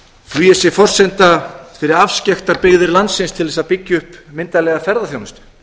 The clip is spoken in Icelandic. flugið sé forsenda fyrir afskekktar byggðir landsins til þess að byggja upp myndarlega ferðaþjónustu